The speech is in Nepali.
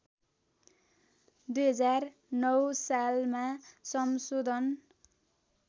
२००९ सालमा संशोधन